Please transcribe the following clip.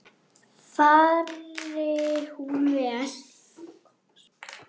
Fari hún vel.